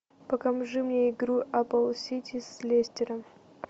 покажи мне игру апл сити с лестером